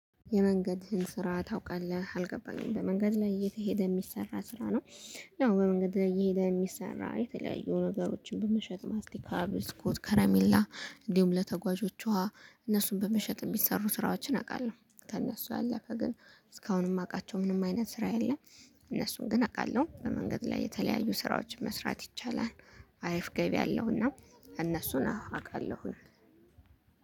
የመንገድህን ስራ ታውቃለህ አልገባኝም በመንገድ ላይ እየተሄደ የሚሰራ ስራ ነው። ነው በመንገድ ላይ እየሄደ የሚሰራ የተለያዩ ነገሮችን በመሸጥ ማስቲካ ብስኮት ከረሜላ እንዲሁም ለተጓዦቿ እነሱን በመሸጥ የሚሰሩ ስራዎችን አውቃለሁ። ከእነሱ ያለፈ ግን እስካሁን የማውቃቸው ምንም አይነት ስራ የለም። እነሱን ግን አቃለሁ በመንገድ ላይ የተለያዩ ስራዎችን መስራት ይቻላል። አሪፍ ገቢ አለውና። እነሱን አ አቃለሁኝ